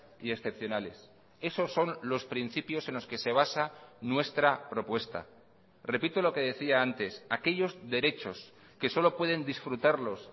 y excepcionales esos son los principios en los que se basa nuestra propuesta repito lo que decía antes aquellos derechos que solo pueden disfrutarlos